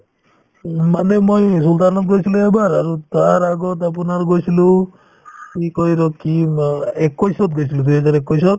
উম, মানে মই sualtan ত গৈছিলো এবাৰ আৰু তাৰ আগত আপোনাৰ গৈছিলো কি কই ৰ কি নাম একৈশত গৈছিলো দুই হাজাৰ একৈশত